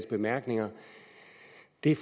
det